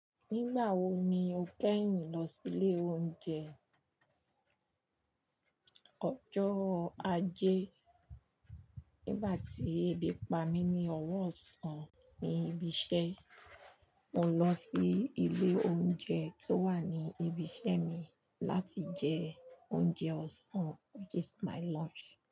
Nígbà wo ni o kẹ́yùn lọ sílé oúnjẹ? Ọjọ́ ajé. Nígbà tí ebi pa mí ní ọwọ́ ọ̀sán ní ibi iṣẹ́, mo lọ sí ilé oúnjẹ tó wà ní ibi iṣẹ́ mi láti jẹ oúnjẹ ọ̀sán which is my lunch.